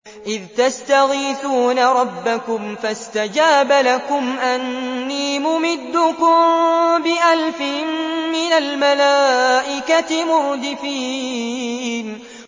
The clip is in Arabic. إِذْ تَسْتَغِيثُونَ رَبَّكُمْ فَاسْتَجَابَ لَكُمْ أَنِّي مُمِدُّكُم بِأَلْفٍ مِّنَ الْمَلَائِكَةِ مُرْدِفِينَ